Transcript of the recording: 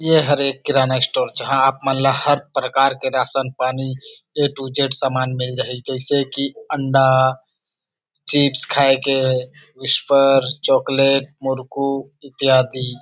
ये हरे किराना स्टोर जहा आप मन ला हर प्रकार के राशन पानी ए टू जेड सामान मिल जही जैसे की अंडा चिप्स खाये के विसपर चॉकलेट मुरकु इत्यादि।